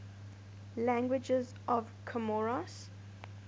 languages of comoros